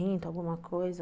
Uns trinta, alguma coisa.